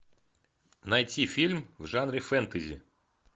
найти фильм в жанре фэнтези